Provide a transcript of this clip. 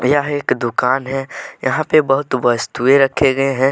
यह एक दुकान है यहां पे बहुत वस्तुएं रखे गए हैं।